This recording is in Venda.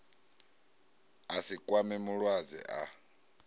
a si kwame mulwadze a